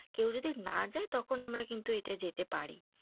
কেউ যদি না যাই তখন আমরা কিন্তু এটাই যেতে পারি।